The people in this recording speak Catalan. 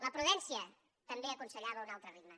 la prudència també aconsellava un altre ritme